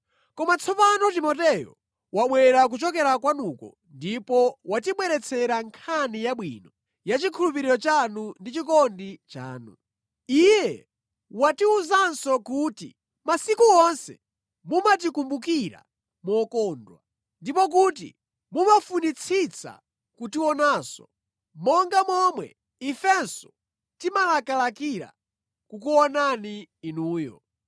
Koma tsopano Timoteyo wabwera kuchokera kwanuko ndipo watibweretsera nkhani yabwino ya chikhulupiriro chanu ndi chikondi chanu. Iye watiwuzanso kuti masiku onse mumatikumbukira mokondwa, ndipo kuti mumafunitsitsa kutionanso, monga momwe ifenso timalakalakira kukuonani inuyo.